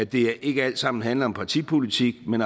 det ikke alt sammen handler om partipolitik men